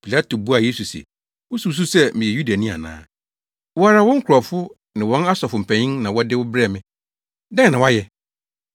Pilato buaa Yesu se, “Wususuw sɛ meyɛ Yudani ana? Wo ara wo nkurɔfo ne wɔn asɔfo mpanyin na wɔde wo brɛɛ me. Dɛn na woayɛ?”